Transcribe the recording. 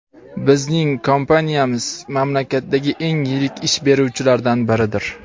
bizning kompaniyamiz mamlakatdagi eng yirik ish beruvchilardan biridir.